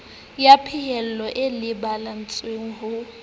ya phahello e lebelletswe ho